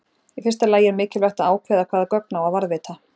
Í fyrsta lagi er mikilvægt að ákveða hvaða gögn á að varðveita.